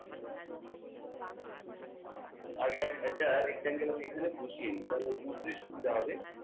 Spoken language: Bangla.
আগে একটা rectangle এখানে বসিয়ে দি তাহলে বুঝতে সুবিধা হবে